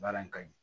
Baara in ka ɲi